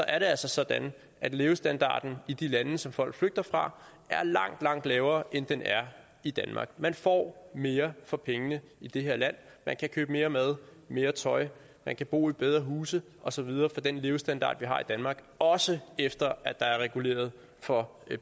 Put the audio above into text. er det altså sådan at levestandarden i de lande som folk flygter fra er langt langt lavere end den er i danmark man får mere for pengene i det her land man kan købe mere mad mere tøj man kan bo i bedre huse og så videre med den levestandard vi har i danmark også efter at der er reguleret for